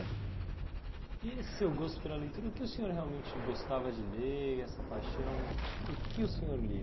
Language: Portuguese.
E esse seu gosto pela leitura, o que o senhor realmente gostava de ler, essa paixão, o que o senhor lia?